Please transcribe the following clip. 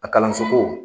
A kalanso ko